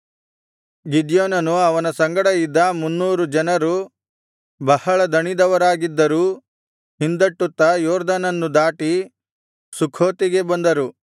ಗಿದ್ಯೋನನು ಅವನ ಸಂಗಡ ಇದ್ದ ಮುನ್ನೂರು ಜನರು ಬಹಳ ದಣಿದವರಾಗಿದ್ದರೂ ಹಿಂದಟ್ಟುತ್ತಾ ಯೊರ್ದನನ್ನು ದಾಟಿ ಸುಖೋತಿಗೆ ಬಂದರು